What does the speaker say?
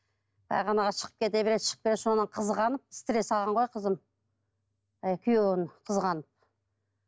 шығып кете береді шығып кете береді содан қызғанып стресс алған ғой қызым күйеуін қызғанып